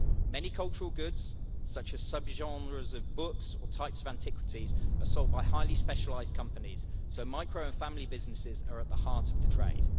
Many cultural goods, such as sub genres of books or types of antiquities, are sold by highly specialised companies, so micro and family businesses are at the heart of the trade.